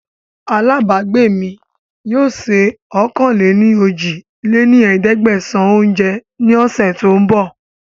Àlábagbé mi yìí ó sé ọ̀kan-lé-ní-ojì lé ní ẹ̀ẹ́dẹ́gbẹ́sán oúnjẹ ní ọ̀sẹ̀ tòun bọ̀